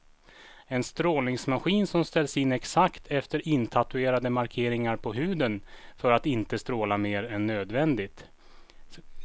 En strålningsmaskin som ställs in exakt efter intatuerade markeringar på huden för att inte stråla mer än nödvändigt.